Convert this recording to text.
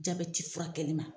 Jaabɛti fura kɛlima.